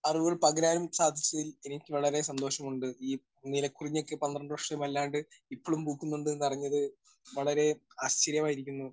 Speaker 1 അറിവുകൾ പകരാനും സാധിച്ചതിൽ എനിക്ക് വളരെ സന്തോഷമുണ്ട്. ഈ നീലക്കുറിഞ്ഞി ഒക്കെ പന്ത്രണ്ട് വർഷത്തിൽ അല്ലാണ്ട് ഇപ്പഴും പൂക്കുന്നുണ്ട് എന്ന് അറിഞ്ഞത് വളരെ ആശ്ചര്യമായിരിക്കുന്നു.